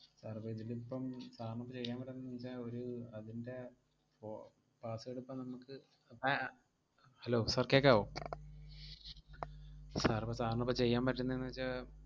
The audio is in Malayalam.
Sir അപ്പം ഇതിലിപ്പം sir ന് ഇപ്പം ചെയ്യാൻ പറ്റുന്നേന്നു വെച്ചാ ഒരു അതിൻറെ പൊ~ password ഇപ്പം നമുക്ക് അഹ് ഏർ hello sir കേക്കാവോ sir ഇപ്പം sir നിപ്പം ചെയ്യാൻ പറ്റുന്നേന്നു വെച്ചാ,